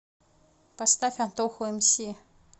поставь антоху мс